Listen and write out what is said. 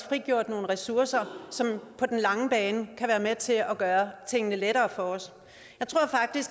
frigjort nogle ressourcer som på den lange bane kan være med til at gøre tingene lettere for os